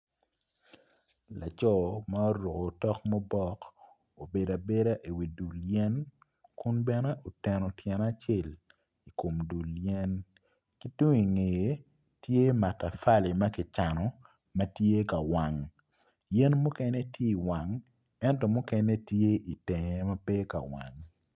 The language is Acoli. Laco ma oruko tok mubok obedo abeda i wi dul yen kun bene oteno tyene acel i kom dul yen ki tung i ngeye tye matafali ma kicano ma tye ka wang yen muken tye ka wang ento mukene tye i tenge ma pe tye ka wang.